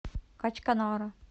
качканара